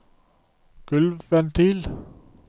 gulvventil